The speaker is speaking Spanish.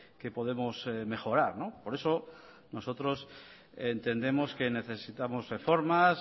que podemos mejorar por eso nosotros entendemos que necesitamos reformas